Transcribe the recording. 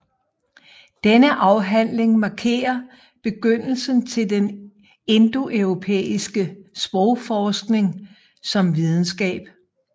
Denne afhandling markerer begyndelsen til den indoeuropæiske sprogforskning som videnskab